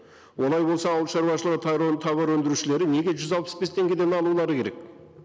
олай болса ауыл шаруашылығы тауар өндірушілері неге жүз алпыс бес теңгеден алулары керек